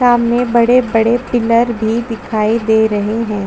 सामने बड़े - बड़े पिलर भी दिखाई दे रहे है।